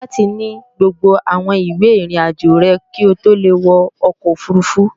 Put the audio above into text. Wàá ní láti ní gbogbo àwọn ìwé ìrìnàjò rẹ̀ ko tó le wọ ọkọ̀ òfurufú